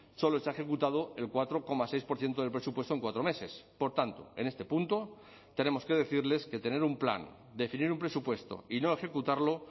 solo se ha ejecutado el cuatro coma seis por ciento del presupuesto en cuatro meses por tanto en este punto tenemos que decirles que tener un plan definir un presupuesto y no ejecutarlo